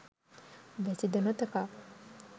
වැසි ද නොතකා